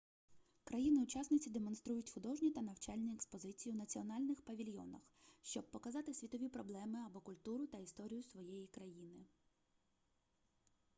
країни-учасниці демонструють художні та навчальні експозиції у національних павільйонах щоб показати світові проблеми або культуру та історію своєї країни